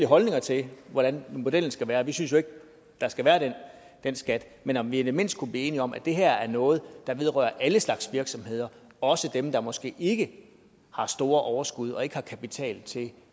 holdninger til hvordan modellen skal være vi synes jo ikke der skal være den skat men om vi i det mindste kunne blive enige om at det her er noget der vedrører alle slags virksomheder også dem der måske ikke har store overskud og ikke har kapital til